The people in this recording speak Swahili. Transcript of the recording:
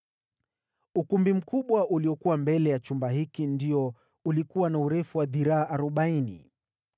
Ukumbi mkubwa uliokuwa mbele ya chumba hiki ndio ulikuwa na urefu wa dhiraa arobaini.